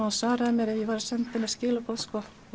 hún svaraði mér ef ég var að senda henni skilaboð